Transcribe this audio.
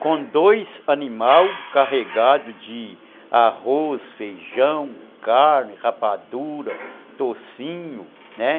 com dois animais carregados de arroz, feijão, carne, rapadura, toucinho, né.